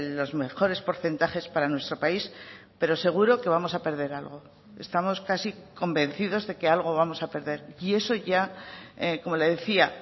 los mejores porcentajes para nuestro país pero seguro que vamos a perder algo estamos casi convencidos de que algo vamos a perder y eso ya como le decía